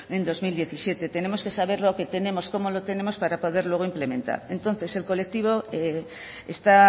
en dos mil diecisiete tenemos que saber lo que tenemos cómo lo tenemos para poder luego implementar entonces el colectivo esta